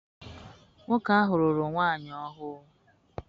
Nwoke ahụ lụrụ nwaanyị ọhụrụ.